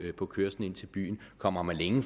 på kørslen ind til byen kommer man længere